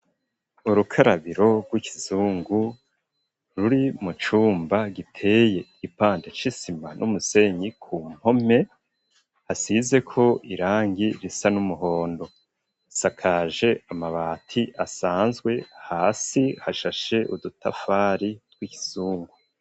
Urukarabiro rw'ikizungu ruri mu cumba giteye ipandec'isima n'umusenyi ku mpome hasizeko irangi risa n'umuhondo isakaje amabati asanzwe hasi hashashe udutafari tw'ikizungu.